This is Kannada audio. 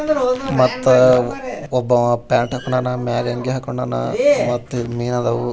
ಮತ್ತು ಒಬ್ಬವ್ ಪ್ಯಾಂಟ್ ಹಾಕೊಂಡನ್ ಮೆಗ ಅಂಗಿ ಹಾಕೊಂಡನ್ ಮತ್ತು ಮಿನಾ ಆದವ್ .